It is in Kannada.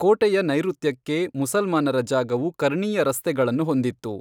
ಕೋಟೆಯ ನೈಋತ್ಯಕ್ಕೆ ಮುಸಲ್ಮಾನರ ಜಾಗವು ಕರ್ಣೀಯ ರಸ್ತೆಗಳನ್ನು ಹೊಂದಿತ್ತು.